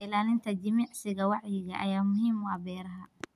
Ilaalinta jimicsiga wacyiga ayaa muhiim u ah beeraha.